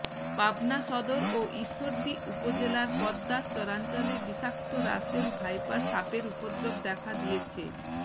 পাবনা সদর ও ঈশ্বরদী উপজেলার পদ্মার চরাঞ্চলে বিষাক্ত রাসেল ভাইপার সাপের উপদ্রব দেখা দিয়েছে